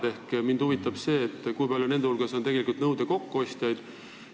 Mind seega huvitab, kui paljud nende hulgas on tegelikult nõuete kokkuostjad.